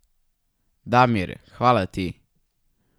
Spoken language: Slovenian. Damir, hvala ti!